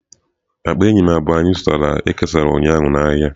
Akpa eyịm abụọ anyị zụtara e kesara ụnyaahụ n'ahịa.